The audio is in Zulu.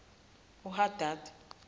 uhadadi